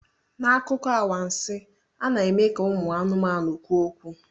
N'akụkọ anwansi, a na-eme ka ụmụ anụmanụ kwuo okwu.